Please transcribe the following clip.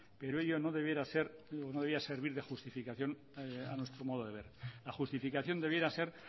pero ello no debía servir de justificación a nuestro modo de ver la justificación debieran ser